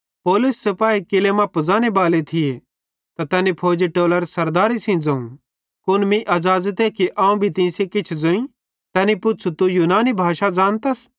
पौलुसे सिपाही किल्लै मां पुज़ाने बाले थिये त तैनी फौजी टोलरे सरदारे सेइं ज़ोवं कुन मीं अज़ाज़ते कि अवं तीं सेइं किछ ज़ोईं ते तैनी पुच़्छ़ू तू यूनानी भाषा ज़ानतस